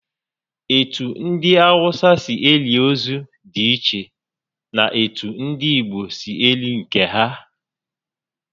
Etu ndi Awụsa si eli ozu dị iche na etu ndị Igbo si eli nke ha